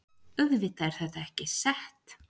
Auðvitað er þetta ekki sett